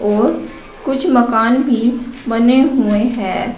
और कुछ मकान भी बने हुए हैं।